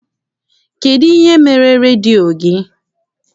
Kedụ ihe mere redio gị?